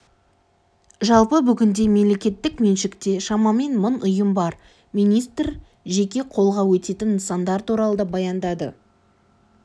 жалпы бүгінде мемлекеттік меншікте шамамен мың ұйым бар министр жеке қолға өтетін нысандар туралы да баяндады